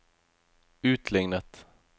utlignet